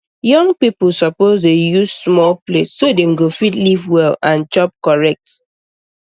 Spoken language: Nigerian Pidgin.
young people suppose dey use small plate so dem go fit live well and chop correct